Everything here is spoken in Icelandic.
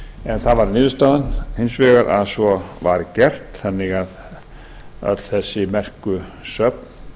en það varð niðurstaðan hins vegar að svo var gert þannig að öll þessi merku söfn